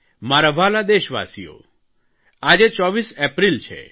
મારા વ્હાલા દેશવાસીઓ આજે 24 એપ્રિલ છે